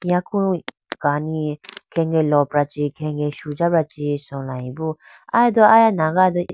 Yaku kani khenge lopra khenge sujabra chee chulayi bo.